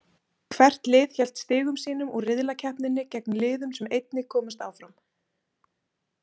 Hvert lið hélt stigum sínum úr riðlakeppninni gegn liðum sem einnig komust áfram.